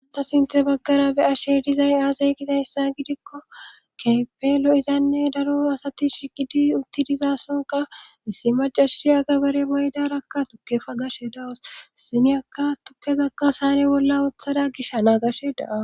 Ata sinthe baggara be ashe dizay aasay gita hyssa gidikko keepelo izanne daro asati shigidi unti dizasonka issi macashi agabare maydarakka tukke fa gashe dawos siniyakka tukkezakka saane bolla othada gishanaagashe da'a.